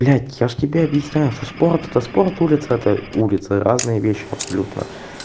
блять я же тебе объясняю что спорт это спорт улица улице разные вещи абсолютно